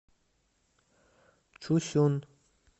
чусюн